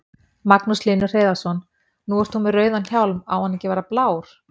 Magnús Hlynur Hreiðarsson: Nú ert þú með rauðan hjálm, á hann ekki að vera blár?